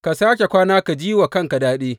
Ka sāke kwana ka ji wa ranka daɗi.